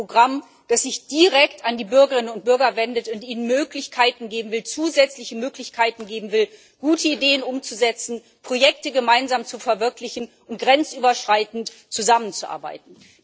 Es ist ein Programm, das sich direkt an die Bürgerinnen und Bürger wendet und ihnen zusätzliche Möglichkeiten geben will, gute Ideen umzusetzen, Projekte gemeinsam zu verwirklichen und grenzüberschreitend zusammenzuarbeiten.